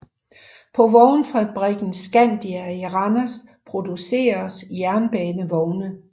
På vognfabrikken Scandia i Randers producers jernbanevogne